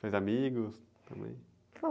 Fez amigos também?